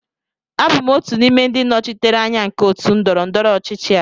Abụ m otu n'ime ndị nnọchiteanya nke otu ndọrọ ndọrọ ọchịchị a